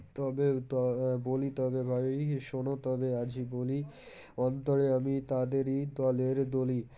তবে, ত বলি তবে বারি শোনো তবে আজ বলি অন্তরে আমি তাদেরই দলের দলি